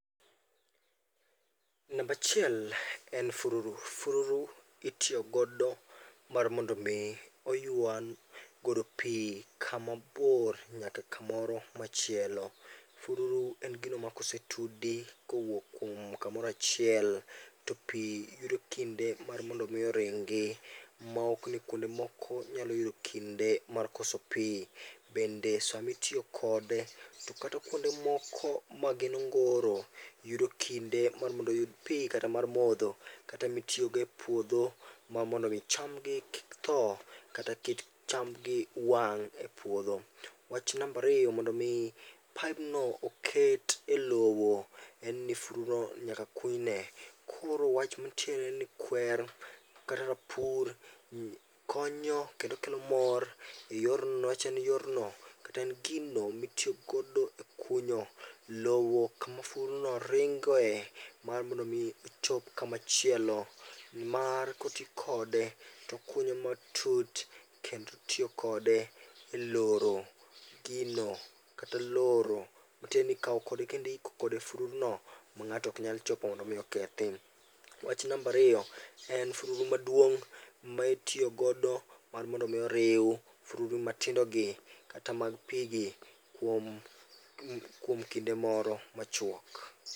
Number achiel en fururu, fururu itiyogodo mar mondo mi oywa godo pi kama bor nyaka kumoro machielo, fururu en gino ma kosetudi kowuok kuom kumoro achiel to pi yudo kinde mar mondo mi oringi' maokni kuonde moko nyalo yudo kinde mar koso pi, bende to sami itiyokode to kata kuonde moko ma gin ongoro yudo kinde mar mondo oyud pi kata mar motho kata mitiyogo e puotho mar mondo mi chamgi kik tho kata mondo kik chamgi wang' e puotho. Wach number ariyo mondo mi paibno oket e lowo en ni fududuno nyaka kunyne, koro wach manitiere ni kwer kata rapur konyo kendo kelo mor e yorno kata en gino mitiyigodo kunyo lowo kuma fududuno ringe mar mondo mi ochop kumachielo mar kotikode to okunyo matut kendo itiyo kode eloro gino kata loro matieni ikawo kode kendo ihikogodo fududuno ma nga'to ok nyal chopo mondo omi okethi. Wach number ariyo en fururu maduong' ma itiyogodo mar mondo mi oriw fududu matindogi kata mag pi gi kuom kinde moro machuok.